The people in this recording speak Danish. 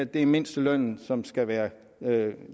det er mindstelønnen som skal være